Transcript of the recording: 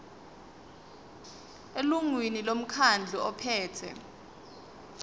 elungwini lomkhandlu ophethe